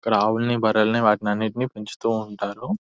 ఇక్కడ ఆవ్వుల్ని బర్రెల్ని వాటినన్నిటిని పెంచుతూ ఉంటారు.